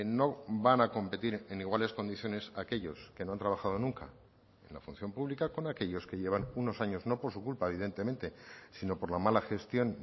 no van a competir en iguales condiciones aquellos que no han trabajado nunca la función pública con aquellos que llevan unos años no por su culpa evidentemente sino por la mala gestión